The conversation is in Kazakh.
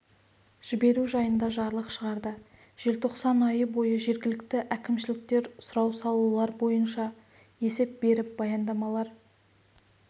жіберу жайында жарлық шығарды желтоқсан айы бойы жергілікті әкімшіліктер сұрау салулар бойынша есептер беріп баяндамалар